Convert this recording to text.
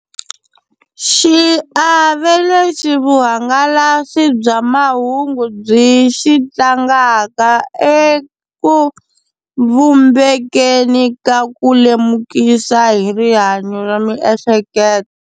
Xiave lexi vuhangalasi bya mahungu byi xi tlangaka eku vumbekeni ka ku lemukisa hi rihanyo ra miehleketo.